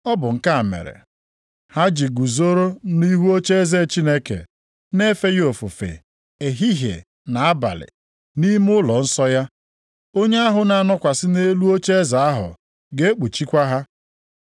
Ọ bụ nke a mere, “ha ji guzoro nʼihu ocheeze Chineke na-efe ya ofufe ehihie na abalị nʼime ụlọnsọ ya. Onye ahụ na-anọkwasị nʼelu ocheeze ahụ ga-ekpuchikwa ha.